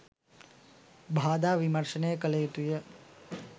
බාධා විමර්ශනය කළ යුතුය.